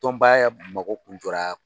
Tɔnba yɛrɛɛ mako kun jɔra